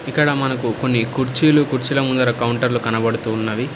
ఇక్కడ మనకు కొన్ని కుర్చీలు కుర్చీల ముందర కౌంటర్లు కనపడుతూ ఉన్నవి.